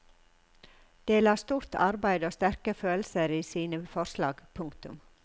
De la stort arbeid og sterke følelser i sine forslag. punktum